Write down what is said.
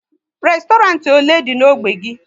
Restorant ole dị n'ógbè gị?